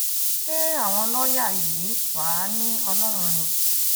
ṣé àwọn lọ́ọ̀yà yìí wàá ní ọlọ́run ni